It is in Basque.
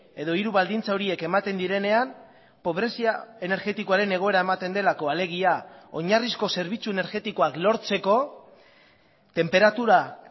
edo hiru baldintza horiek ematen direnean pobrezia energetikoaren egoera ematen delako alegia oinarrizko zerbitzu energetikoak lortzeko tenperatura